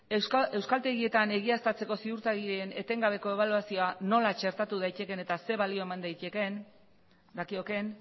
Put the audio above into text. euskaltegietan egiaztatzeko ziurtagirien etengabeko ebaluazioa zelan txertatu daitekeen eta zer balio eman dakiokeen